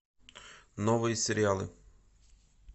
новые сериалы